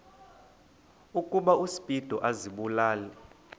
ukuba uspido azibulale